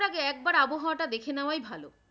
যাওয়ার আগে একবার আবহাওয়াটা দেখে নেওয়াই ভালো